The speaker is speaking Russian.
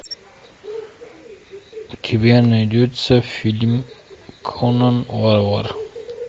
у тебя найдется фильм конан варвар